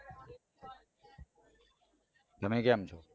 તમે કેમ છો